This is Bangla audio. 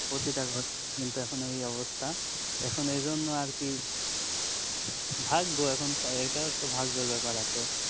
প্রতিটা ঘরে ঘরে কিন্তু এই অবস্থা এখন এই জন্য আরকি ভাগ্য এখন এটাও একটা ভাগ্যের বেপার আছে